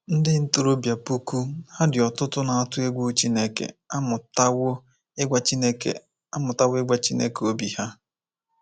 Ndị ntorobịa puku ha dị ọtụtụ na-atụ egwu Chineke amụtawo ịgwa Chineke amụtawo ịgwa Chineke obi ha.